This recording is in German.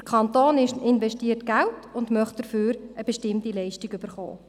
Der Kanton investiert Geld und möchte dafür eine bestimmte Leistung erhalten.